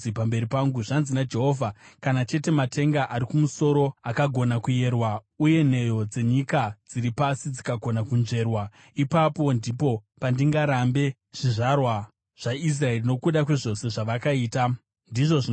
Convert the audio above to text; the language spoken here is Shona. Zvanzi naJehovha: “Kana chete matenga ari kumusoro akagona kuyerwa, uye nheyo dzenyika dziri pasi dzikagona kunzverwa, ipapo ndipo pandingarambe zvizvarwa zvaIsraeri nokuda kwezvose zvavakaita,” ndizvo zvinotaura Jehovha.